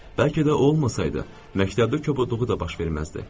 Bəlkə də o olmasaydı, məktəbdə kobudluğu da baş verməzdi.